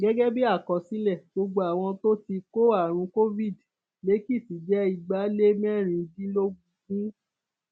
gẹgẹ bíi àkọsílẹ gbogbo àwọn tó ti kó àrùn covid lèkìtì jẹ igbalémẹrìndínlógún